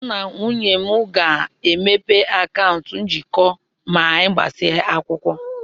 Mụ na nwunye m ga-emepe akaụntụ njikọ ma anyị gbasịa akwụkwọ.